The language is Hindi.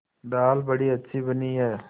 दाल बड़ी अच्छी बनी है